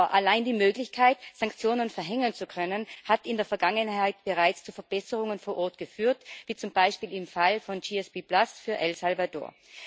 Aber allein die Möglichkeit, Sanktionen verhängen zu können, hat in der Vergangenheit bereits zu Verbesserungen vor Ort geführt, wie zum Beispiel im Fall von GSP für El Salvador.